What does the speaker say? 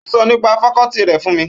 Ó sọ nípa fakọ́ọ́tì rẹ̀ fún mi.